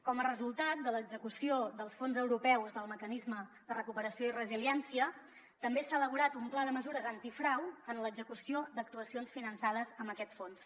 com a resultat de l’execució dels fons europeus del mecanisme de recuperació i resiliència també s’ha elaborat un pla de mesures antifrau en l’execució d’actuacions finançades amb aquest fons